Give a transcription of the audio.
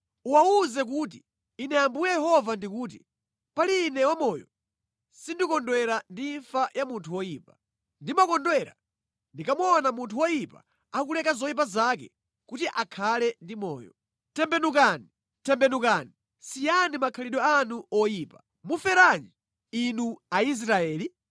Uwawuze kuti, Ine Ambuye Yehova ndikuti: “Pali Ine wamoyo, sindikondwera ndi imfa ya munthu woyipa. Ndimakondwera ndikamaona munthu woyipa akuleka zoyipa zake kuti akhale ndi moyo. Tembenukani! Tembenukani, siyani makhalidwe anu oyipa! Muferanji, Inu Aisraeli?